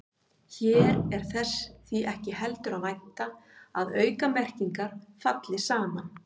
Hér er þess því ekki heldur að vænta að aukamerkingar falli saman.